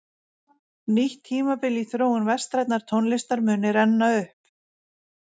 Nýtt tímabil í þróun vestrænnar tónlistar muni renna upp.